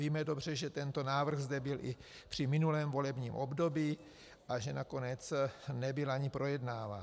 Víme dobře, že tento návrh zde byl i při minulém volebním období a že nakonec nebyl ani projednáván.